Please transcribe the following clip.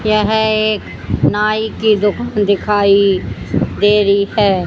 यह एक नाई की दुकान दिखाई दे रही है।